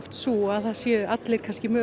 sú að það séu allir